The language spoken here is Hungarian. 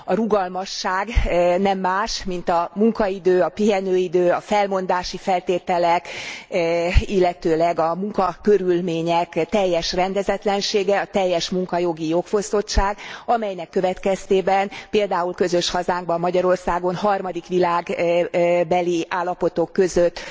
A rugalmasság nem más, mint a munkaidő, a pihenőidő, a felmondási feltételek, illetőleg a munkakörülmények teljes rendezetlensége, a teljes munkajogi jogfosztottság, amelynek következtében, például közös hazánkban Magyarországon, harmadik világbeli állapotok között